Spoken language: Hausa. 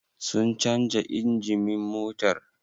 Sun canja injimin motar?